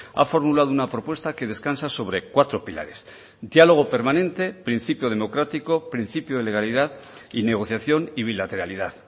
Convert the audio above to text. ha formulado una propuesta que descansa sobre cuatro pilares diálogo permanente principio democrático principio de legalidad y negociación y bilateralidad